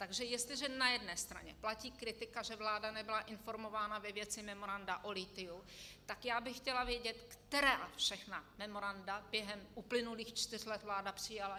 Takže jestliže na jedné straně platí kritika, že vláda nebyla informována ve věci memoranda o lithiu, tak já bych chtěla vědět, která všechna memoranda během uplynulých čtyř let vláda přijala.